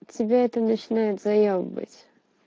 тебя это начинает заёбывать